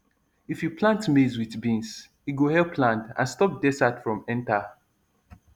if you plant maize with beans e go help land and stop desert from enter